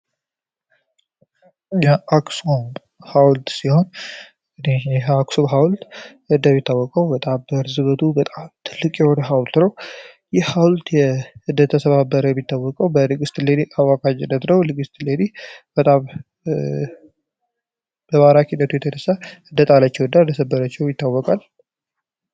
የአክስኩ ሃውልድ ሲሆን ይህ አክስ ሃውልድ ህደብ ይታወቀው በጣብ በእርዝበቱ በጣብ ትልቅ የወደ ሃውልትረው ይህ ሀውልድ የእደተሰባበረው ቢታወቀው በልግስት ሌሊ አዋካጅ ደትረው ልግስት ሌድ በባራክ ሂደቱ የተደሳ ህደጣለቸው እዳ እደሰበረቸው ቢታወቃል